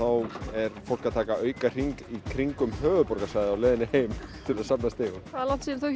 er fólk að taka auka hring í kringum höfuðborgarsvæðið til að safna stigum hvað er langt síðan þú